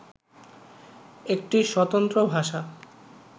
একটি স্বতন্ত্র ভাষা